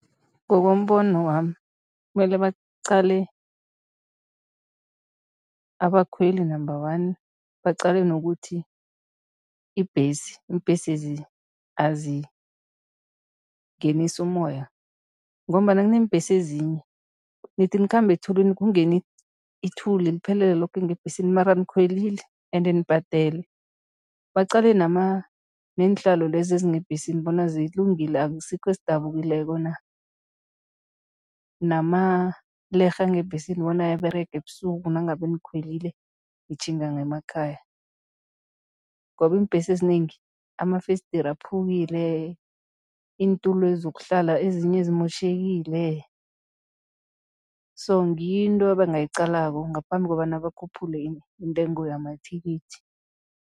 Ngokombono wami kumele baqale abakhweli, number one, baqale nokuthi ibhesi, iimbhesezi azingenisi umoya ngombana kuneembhesi ezinye, nithi nikhamba ethulini kungene ithuli liphelele loke ngebhesini mara nikhwelile ende nibhadele. Baqale neenhlalo lezi ezingebhesini bona zilungile, asikho esidabukileko na, namalerhe angebhesini bona ayaberega ebusuku nangabe nikhwelile nitjhinga ngemakhaya ngoba iimbesi ezinengi amafesideri aphukile, iintulo zokuhlala ezinye zimotjhekile so ngiyo into ebangayiqalako ngaphambi kobana bakhuphule intengo yamathikithi.